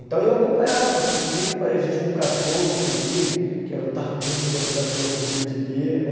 Então eu acompanhava, por incrível que pareça, a gente tinha um cachorro, inclusive, que era o Tabum, que era um cachorro perdigueiro, né?